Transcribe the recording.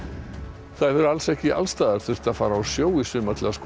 ekki alls staðar þurft að fara á sjó í sumar til að skoða hvali